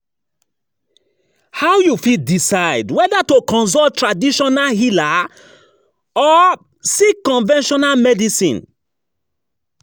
How you fit decide whether to consult traditional healer or seek conventional medicine?